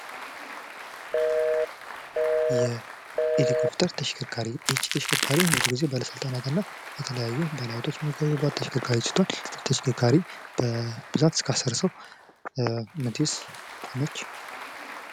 የኤሌኮፍተር ተሽከርካሪ ይህቺ ተሽከርካሪ ብዙ ጊዜ ባለስልጣናት እና ባለሃብቶች የሚፈልጓት ተሽከርካሪ በብዛት እስከ አስር ሰው የምትይዝ ነች።